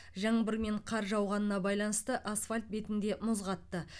жаңбыр мен қар жауғанына байланысты асфальт бетінде мұз қатты